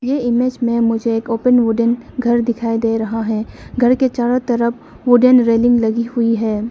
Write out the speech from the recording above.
ये इमेज में मुझे एक ओपन वुडन घर दिखाई दे रहा है घर के चारों तरफ वुडन रेलिंग लगी हुई है।